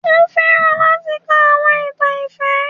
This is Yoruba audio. O fẹran lati ka awọn itan ifẹ.